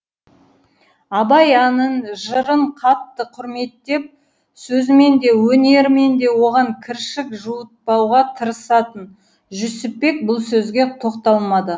абай әнін жырын қатты құрметтеп сөзімен де өнерімен де оған кіршік жуытпауға тырысатын жүсіпбек бұл сөзге тоқталмады